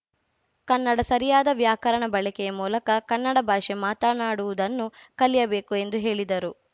ಕನ್ನಡ ಸರಿಯಾದ ವ್ಯಾಕರಣ ಬಳಕೆಯ ಮೂಲಕ ಕನ್ನಡ ಭಾಷೆ ಮಾತನಾಡುವುದನ್ನು ಕಲಿಯಬೇಕು ಎಂದು ಹೇಳಿದರು